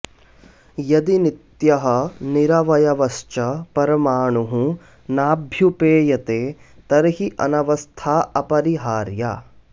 यदि नित्यः निरवयवश्च परमाणुः नाभ्युपेयते तर्हि अनवस्था अपररिहार्या